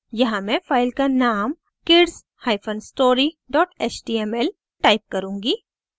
यहाँ मैं फ़ाइल का name kidsstory html टाइप करुँगी